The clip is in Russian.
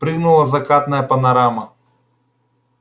прыгнула закатная панорама